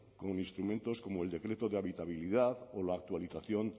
con instrumentos como el decreto de habitabilidad o la actualización